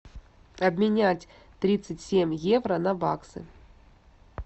обменять тридцать семь евро на баксы